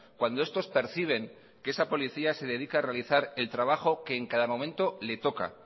cuando estos perciben que esa policía se dedica a realizar el trabajo que en cada momento le toca